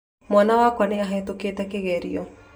Mwana wakwa nĩ ahetũkĩte kĩgerio